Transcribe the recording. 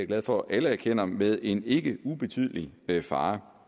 glad for at alle erkender med en ikke ubetydelig fare